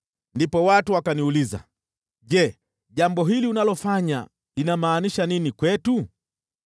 Ndipo watu wakaniuliza, “Je, jambo hili unalofanya linamaanisha nini kwetu?”